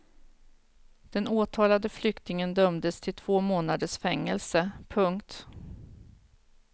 Den åtalade flyktingen dömdes till två månaders fängelse. punkt